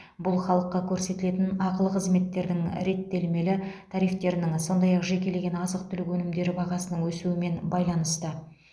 бұл халыққа көрсетілетін ақылы қызметтердің реттелмелі тарифтерінің сондай ақ жекелеген азық түлік өнімдері бағасының өсуімен байланысты